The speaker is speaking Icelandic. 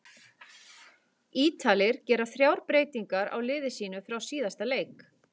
Ítalir gera þrjár breytingar á liði sínu frá síðasta leik.